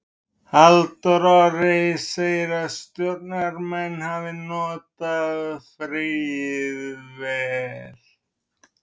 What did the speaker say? Halldór Orri segir að Stjörnumenn hafi notað fríið vel.